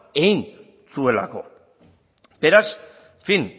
egin zuelako beraz en fin